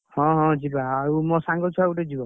ହଁ ହଁ ଯିବା ଆଉ ମୋ ସାଙ୍ଗ ଛୁଆ ଗୋଟେ ଯିବ।